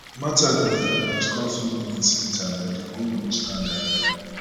martha bin um score few minutes later but di goal no stand um